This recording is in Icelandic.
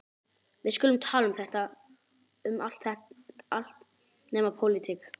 Við skulum tala um allt nema pólitík.